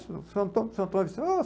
Seu seu Antônio seu Antônio disse, ah